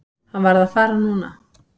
Hann varð að fara núna.